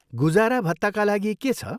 गुजारा भत्ताका लागि के छ?